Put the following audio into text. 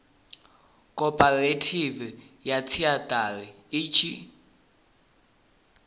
khophorethivi ya theshiari i tshi